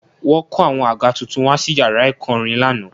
Wọ́n kó àwọn àga tuntun wá sí yàrá ẹ̀kọ́ orin lánàá